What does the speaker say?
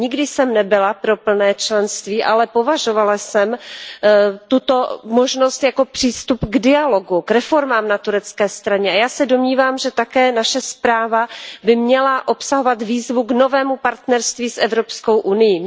Nikdy jsem nebyla pro plné členství, ale považovala jsem tuto možnost za přístup k dialogu, k reformám na turecké straně. A já se domnívám, že také naše zpráva by měla obsahovat výzvu k novému partnerství s Evropskou unií.